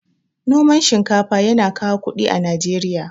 Noman shinkafa yana kawo kuɗi a Najeriya.